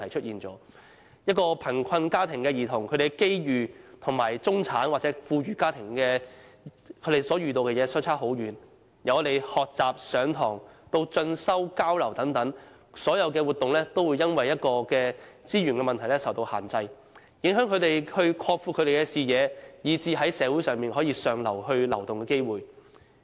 一個貧困家庭的兒童的機遇，與中產或富裕家庭的兒童相差甚遠，由學習、上課，以至是進修、交流等所有活動，他們也會因資源問題而受到限制，影響他們擴闊視野，以至是在社會向上流動的機會。